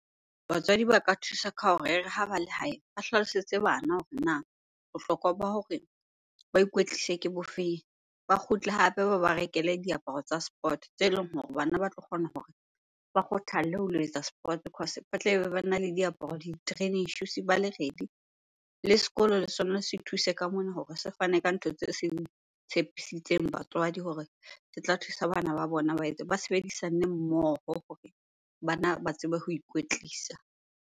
Batswadi ba ka thusa ka hore e re ha ba le hae, ba hlalosetse bana hore na bohlokwa ba hore ba ikwetlise ke bofeng? Ba kgutle hape ba ba rekele diaparo tsa sport tse leng hore bana ba tlo kgona hore ba kgothalle ho lo etsa sport cause ba tlabe bana le diaparo, di-training shoes ba le ready. Le sekolo le sona se thuse ka mona hore se fane ka ntho tse seng tshepisitseng batswadi hore se tla thusa bana ba bona ba etse. Ba sebedisane mmoho hore bana ba tsebe ho ikwetlisa.